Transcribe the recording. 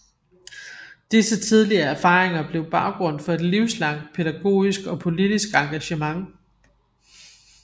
Disse tidlige erfaringer blev baggrund for et livslangt pædagogisk og politisk engagement